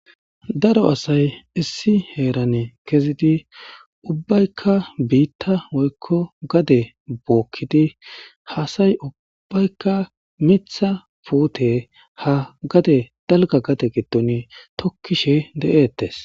issi heeran kezidi ubaykka biitta woykko gadde bookidii ha asay uubbaykka miiththa puute ha gadde dalgga gadde giddon tookishe de'ettes